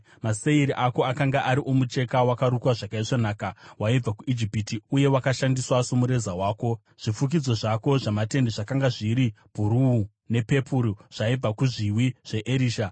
Maseiri ako akanga ari omucheka wakarukwa zvakaisvonaka waibva kuIjipiti, uye wakashandiswa somureza wako; zvifukidzo zvako zvamatende zvakanga zviri bhuruu nepepuru, zvaibva kumahombekombe aErisha.